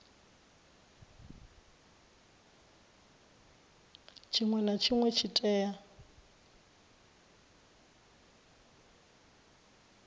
tshinwe na tshinwe tshi tea